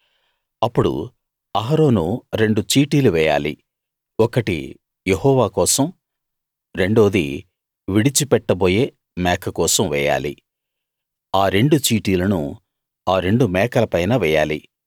అప్పుడు అహరోను రెండు చీటీలు వేయాలి ఒకటి యెహోవా కోసం రెండోది విడిచి పెట్టబోయే మేక కోసం వేయాలి ఆరెండు చీటీలను ఆ రెండు మేకల పైన వేయాలి